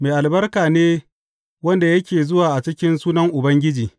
Mai albarka ne wanda yake zuwa a cikin sunan Ubangiji!